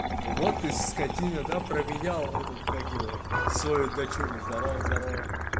вот ты скотина до променял этот как его свою дочурку здорово здорово